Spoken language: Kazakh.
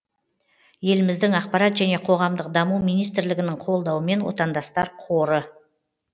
еліміздің ақпарат және қоғамдық даму министрлігінің қолдауымен отандастар қоры және